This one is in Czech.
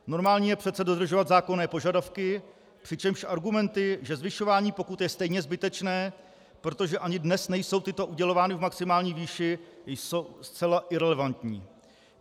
Normální je přece dodržovat zákonné požadavky, přičemž argumenty, že zvyšování pokut je stejně zbytečné, protože ani dnes nejsou tyto udělovány v maximální výši, jsou zcela irelevantní.